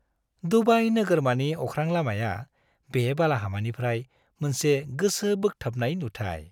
Dubai नोगोरमानि अख्रांलामाया बे बालाहामानिफ्राय मोनसे गोसो बोग्थाबनाय नुथाय।